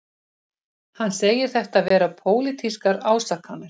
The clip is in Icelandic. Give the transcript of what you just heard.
Hann segir þetta vera pólitískar ásakanir